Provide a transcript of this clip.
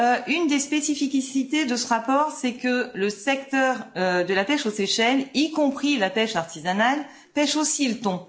Une des spécificités de ce rapport, c'est que le secteur de la pêche aux Seychelles, y compris la pêche artisanale, pêche aussi le thon.